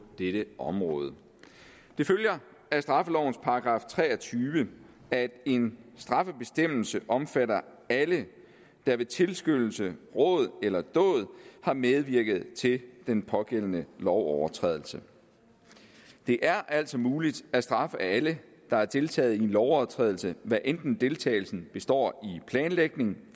dette område det følger af straffelovens § tre og tyve at en straffebestemmelse omfatter alle der ved tilskyndelse råd eller dåd har medvirket til den pågældende lovovertrædelse det er altså muligt at straffe alle der har deltaget i en lovovertrædelse hvad enten deltagelsen består i planlægning